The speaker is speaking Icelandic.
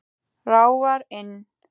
Ráfar inn.